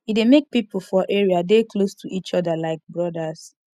e dey make pipo for area dey close to each other like brodas